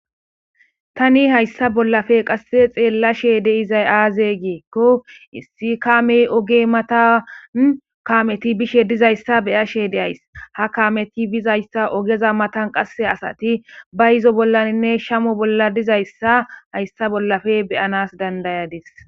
Tani hayssa bollafe qasse xeella sheede izay aazegeekko issi kaamey oge matan kameti bishe dizayssa beyashe de ays ha kaameti bizayssa ogeza matan qasse asati ba izo bollaninne shamo bolla dizayssa hayssa bollafe beyanas dandayadis.